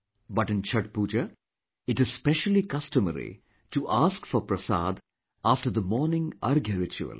But in Chhath Pooja, it is specially customary to ask for Prasad after the morning Arghya ritual